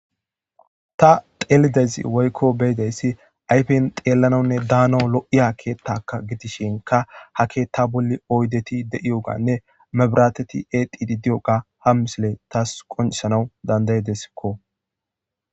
Ta telizayssi woykko be'iyayssi ayfen telanawnne danaw lo'iya ketaka gidishshiinka ha Ketta bolli oydeti de'ogganne mebirateti etiididi de'iyogga ha misiiley tas qoncissanaw danda'idesikko